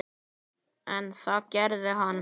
En það gerði hann.